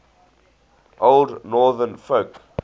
old northern folk